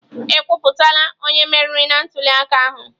Ekwuputala onye meriri na ntuliaka ahụ?